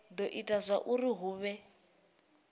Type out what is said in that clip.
do ita zwauri hu vhe